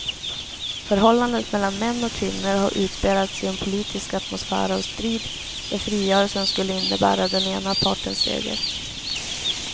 Förhållandet mellan män och kvinnor har utspelats i en politisk atmosfär av strid, där frigörelsen skulle innebära den ena partens seger.